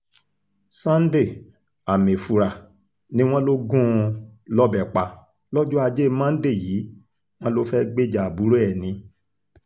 sunday amaefura ni wọ́n lọ gún un lọ́bẹ̀ pa lọ́jọ́ ajé monde yìí wọ́n lọ fẹ́ẹ́ gbèjà àbúrò ẹ̀ ni